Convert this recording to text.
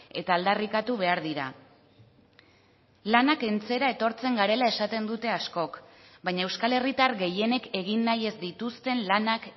eta aldarrikatu behar dira lana kentzera etortzen garela esaten dute askok baina euskal herritar gehienek egin nahi ez dituzten lanak